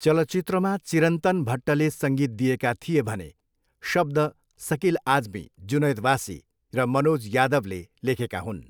चलचित्रमा चिरन्तन भट्टले सङ्गीत दिएका थिए भने शब्द सकिल आजमी, जुनैद वासी र मनोज यादवले लेखेका हुन्।